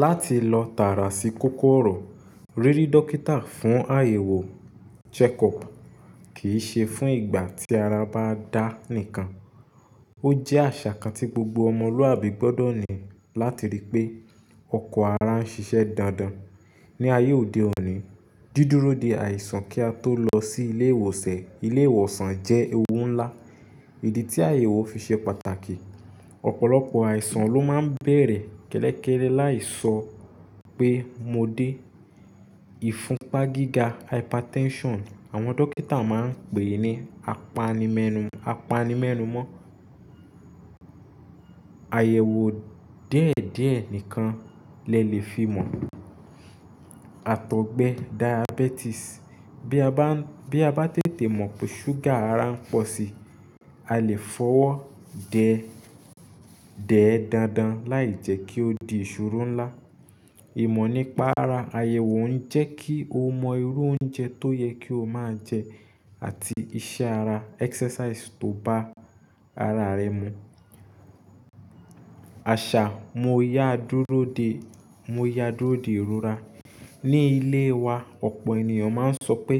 Láti lọ tààrà sí kókó ọ̀rọ̀, ríri dókítà fún àyẹ̀wò(check up) kì í ṣe fún ìgbà tí ara bá dá nìkan. Ó jẹ́ àṣà kan tí gbogbo ọmọlúwàbí gbọ́dọ̀ ní láti rí pé ọkọ̀ ara ń ṣiṣẹ́ dandan. Ni ayé òde òní, dídúró de àìsàn kí a tó lọ sí ilé ìwòsàn jẹ́ ewú ńlá. Idi tí àyẹ̀wò fi ṣe pàtàkì, ọ̀pọ̀lọpọ̀ àìsàn ló máa ń bẹ̀rẹ̀ kẹ́lẹ́kẹ́lẹ́ láì sọ pé mo dé. Ìfúnpá gíga(hypertension), àwọn dókítà máa ń pè ní apanimenumọ Àyẹ̀wò díẹ̀díẹ̀ nìkan lẹ lè fi mọ̀. Àtọ̀gbẹ diabetes. Bí a bá tètè mọ̀ pé ṣúgà ara ń pọ̀ síi, a lè fọwọ́ dẹ̀ ẹ́ dándán láì jẹ́ kí ó di ìṣòro ńlá. Ìmọ̀ nípa ara àyẹ̀wò ń jẹ́ kí o mọ irú oúnjẹ tó yẹ kí o máa jẹ àti iṣẹ́ ara exercise tó bá ara rẹ mu. Mo yá dúró de ìrora. Ni ilé wa, ọ̀pọ̀ ènìyàn máa ń sọ pé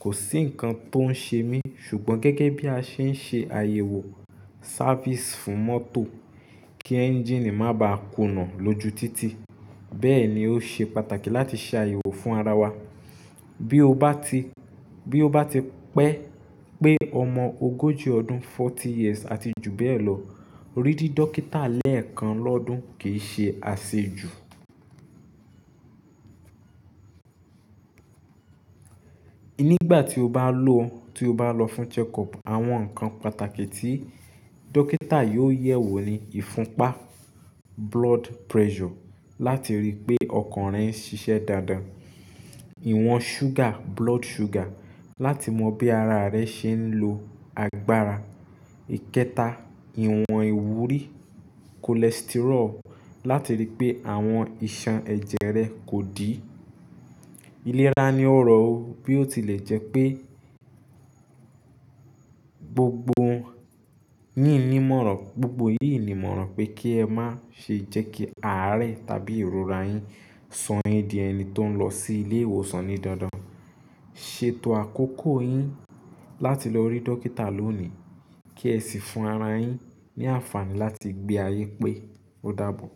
kò sí ǹkan tó ń ṣe mí ṣùgbọ́n gẹ́gẹ́ bí a ṣe ń ṣe àyẹ̀wò sáfìsì fún mọ́tò kí ẹ́ńjìnì má bàá kùnà lójú títì, bẹ́ẹ̀ ni ó ṣe pàtàkì láti ṣe àyẹ̀wò fún ara wa. Bí ó bá ti pe ọmọ ogójì ọdún forty years àti jù bẹ́ẹ̀ lọ, ríri dókítà lẹ́ẹ̀kan lọ́dún kii ṣe asejù. Nígbà tí o bá lọ fún check up, àwọn ǹkan pàtàkì tí dókítà yóò yẹ̀ wò ni ìfúnpá blood pressure láti rí pé ọkàn rẹ ń ṣiṣẹ́ dáadáa. Iwọ̀n sugar, blood sugar láti mọ bí ara rẹ ṣe ń lo agbára. Ìkéta, ìwọ̀n ìwúrí cholesterol láti rí pé àwọn iṣan ẹ̀jẹ̀ rẹ kò dí. Iléra ni ọrọ o bí ó tilẹ̀ jẹ́ pé gbogbo yíi ni ìmọ̀ràn pé kí ẹ má ṣe jẹ́ kí aarẹ tàbí ìrora yín sọ yin di ẹni tó ń lọ sí ilé ìwòsàn ní dandan. Ṣètò àkókò yín láti lọ rí dókítà lónìí, kí ẹ sì fún ara yín ní àǹfààní láti gbé ayé pé, o dàbọ̀.